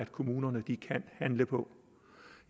kommunerne kan handle på